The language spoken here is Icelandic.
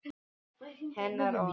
Hennar orð.